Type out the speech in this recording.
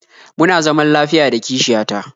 Muna zaman lafiya da kishiya ta